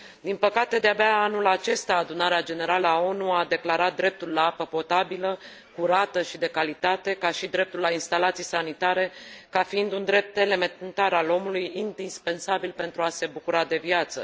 Din păcate, de abia anul acesta Adunarea Generală a ONU a declarat atât dreptul la apă potabilă, curată și de calitate, cât și dreptul la instalații sanitare, ca fiind drepturi elementare ale omului, indispensabile pentru a se bucura de viață